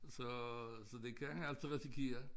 Så så det kan altså risikere